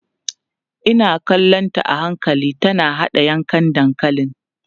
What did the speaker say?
Ina kallonta a hankali tana haɗa yankan dankalin.